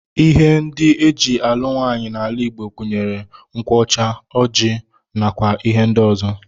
Ihe ndị e ji alụ nwaanyị n'ala Igbo gụnyere nkwụ ọcha, ọjị, nakwa ihe ndị ọzọ